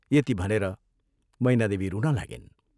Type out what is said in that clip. यति भनेर मैनादेवी रुन लागिन्।